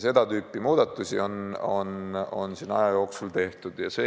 Seda tüüpi muudatusi on siin aja jooksul tehtud.